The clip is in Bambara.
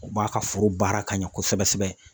U b'a ka foro baara ka ɲɛ kosɛbɛ kosɛbɛ